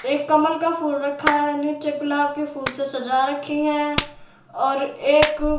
एक कमल का फूल रखा है। नीचे गुलाब के फूल से सजा रखी है और एक--